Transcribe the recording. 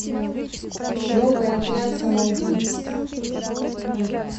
новый отряд самоубийц